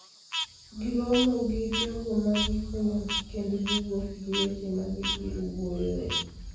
giromo gi jogo ma gikonyogi kendo giwuok gi weche ma gibiro wuoyoe.